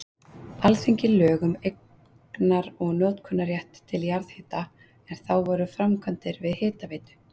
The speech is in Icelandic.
Alþingi lög um eignar- og notkunarrétt til jarðhita, en þá voru framkvæmdir við Hitaveitu